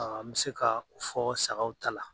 n bɛ se k'a fɔ sagaw ta la.